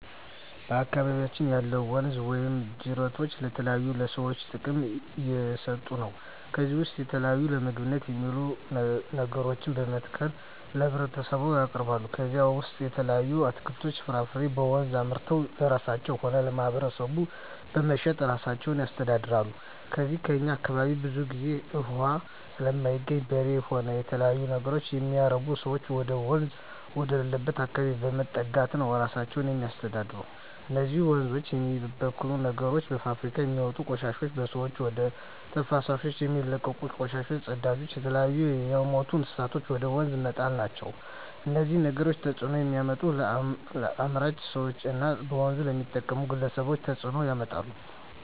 በአካባቢያችን ያሉ ወንዞች ወይም ጅረቶች ለተለያዩ ለሰዎች ጥቅም እየሠጡ ነው ከዚህ ውስጥ የተለያዩ ለምግብነት የሚውሉ ነገሮችን በመትከል ለህብረተሰቡ ያቀርባሉ ከነዚህም ውሰጥ የተለያዩ አትክልቶች ፍራፍሬዎችን በወንዙ አምርተው ለራሳቸው ሆነ ለማህበረሰቡ በመሸጥ እራሳቸውን ያስተዳድራሉ ከዚው ከእኛ አካባቢም ብዙ ግዜ እውሃ ስለማይገኝ በሬ ሆነ የተለያዩ ነገሮች የሚያረቡ ሰዎች ወደወንዝ ወዳለበት አካባቢ በመጠጋት ነው እራሳቸውን የሚያስተዳድሩ እነዚህ ወንዞች የሚበክሉ ነገሮች በፋብሪካውች የሚወጡ ቆሻሾች በሰዎች ወደ ተፋሰሶች የሚለቀቁ ቆሻሻ ጽዳጅ የተለያዩ የምቱ እንስሳትን ወደ ወንዙ መጣል ናቸው እነዚህ ነገሮች ተጽዕኖ የሚያመጡት ለአምራች ሰዎች እና በወንዞች ለሚጠቀሙ ግለሰቦች ተጽእኖ ያመጣል